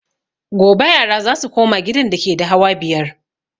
Gobe yara za su koma gidan dake da hawa biyar